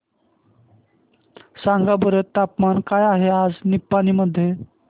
सांगा बरं तापमान काय आहे आज निपाणी मध्ये